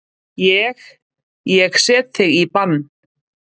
Ég. ég set þig í bann!